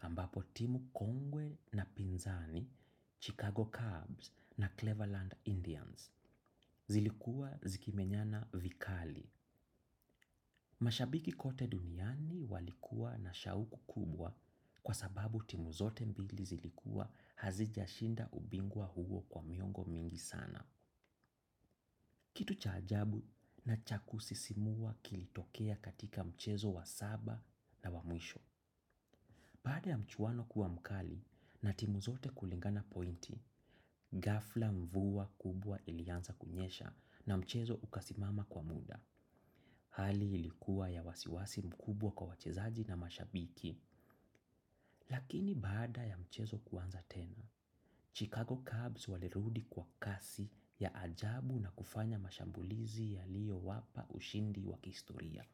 ambapo timu kongwe na Pinzani, Chicago Cubs na Cleverland Indians. Zilikuwa zikimenyana vikali. Mashabiki kote duniani walikuwa na shauku kubwa kwa sababu timu zote mbili zilikuwa hazijashinda ubingwa huo kwa miongo mingi sana. Kitu cha ajabu na cha kusisimua kilitokea katika mchezo wa saba na wa mwisho. Pande ya mchuano kuwa mkali na timu zote kulingana pointi, ghafla mvua kubwa ilianza kunyesha na mchezo ukasimama kwa muda. Hali ilikuwa ya wasiwasi mkubwa kwa wachezaji na mashabiki, lakini baada ya mchezo kuanza tena, Chicago Cubs walirudi kwa kasi ya ajabu na kufanya mashambulizi yaliyo wapa ushindi wa kihistoria.